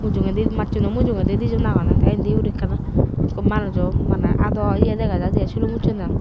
dogendi macchuno mujungedi dijon agonde te indi guri ekka manujo maney ado ye dega jaide aai silum ucchonde.